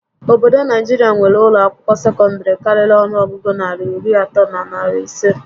Obodo Naijiria nwéré ụlọ akwụkwọ sekọndịrị karịrị ọnụọgụgụ narị iri atọ na iri isé